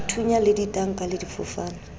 dithunya le ditanka le difofane